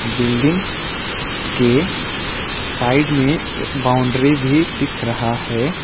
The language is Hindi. बिल्डिंग के साइड में एक बाउंड्री भी दिख रहा है।